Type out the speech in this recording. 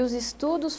E os estudos?